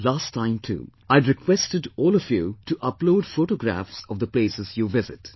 Last time too, I had requested all of you to upload photographs of the places you visit